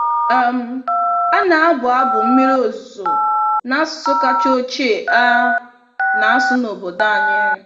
um A na-abụ abụ mmiri ozuzo n'asụsụ kacha ochie a na-asụ n'obodo anyị.